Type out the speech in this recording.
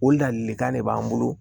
O ladilikan de b'an bolo